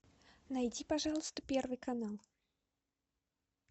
найди пожалуйста первый канал